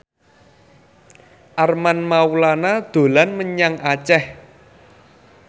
Armand Maulana dolan menyang Aceh